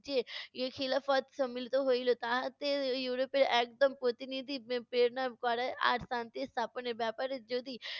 খিলাফত সম্মিলিত হইলো। তাহাতে ইউরোপের একদল প্রতিনিধি পে~ প্রেরণা করা আর শান্তি স্থাপনের ব্যাপারে যদি